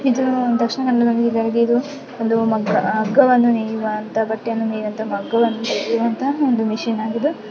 E ದು ದಕ್ಷಿಣ ಕನ್ನಡದಲ್ಲಿರು ಒಂದು ಹಗ್ಗವನ್ನು ನೇಯುವಂತ ಬಟ್ಟೆಯನ್ನು ನೇಯುವಂತ ಒಂದು ಮಷೀನ್ ಆಗಿದ್ದು--